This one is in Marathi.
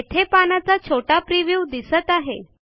येथे पानाचा छोटा प्रिव्ह्यू दिसत आहे